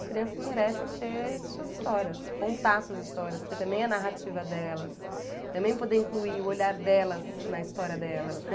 As crianças merecem ter suas histórias, contar suas histórias, ter também a narrativa delas, também poder incluir o olhar delas na história delas, né?